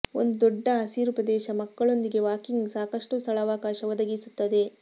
ಒಂದು ದೊಡ್ಡ ಹಸಿರು ಪ್ರದೇಶ ಮಕ್ಕಳೊಂದಿಗೆ ವಾಕಿಂಗ್ ಸಾಕಷ್ಟು ಸ್ಥಳಾವಕಾಶ ಒದಗಿಸುತ್ತದೆ